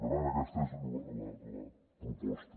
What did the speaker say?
per tant aquesta és la proposta